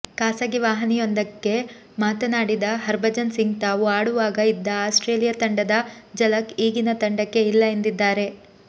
ಖಾಸಗಿ ವಾಹಿನಿಯೊಂದಕ್ಕೆ ಮಾತನಾಡಿದ ಹರ್ಭಜನ್ ಸಿಂಗ್ ತಾವು ಆಡುವಾಗ ಇದ್ದ ಆಸ್ಟ್ರೇಲಿಯಾ ತಂಡದ ಝಲಕ್ ಈಗಿನ ತಂಡಕ್ಕೆ ಇಲ್ಲ ಎಂದಿದ್ದಾರೆ